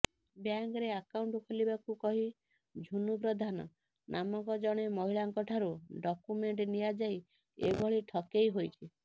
ବ୍ୟାଙ୍କରେ ଆକାଉଣ୍ଟ ଖୋଲିବାକୁ କହି ଝୁନୁ ପ୍ରଧାନ ନାମକ ଜଣେ ମହିଳାଙ୍କଠାରୁ ଡକ୍ୟୁମେଣ୍ଟ ନିଆଯାଇ ଏଭଳି ଠକେଇ ହୋଇଛି